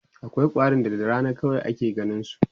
akwai ƙwarin da da Rana kadai ake ganinsu